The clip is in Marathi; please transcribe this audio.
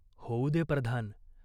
होऊ दे प्रधान.